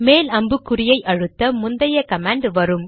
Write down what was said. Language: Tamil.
மேல் அம்புக்குறியை அழுத்த முந்தைய கமாண்ட் வரும்